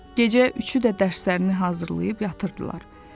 Gecə üçü də dərslərini hazırlayıb yatırdılar.